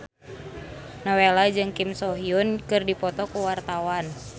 Nowela jeung Kim So Hyun keur dipoto ku wartawan